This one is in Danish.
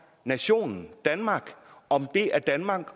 nationen danmark om det er danmark